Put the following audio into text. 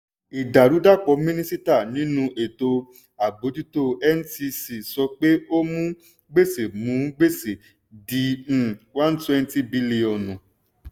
ìdàrúdàpọ̀ mínísítà nínú ètò àbójútó ncc sọ pé ó mú gbèsè mú gbèsè di one twenty bílíọ̀nù.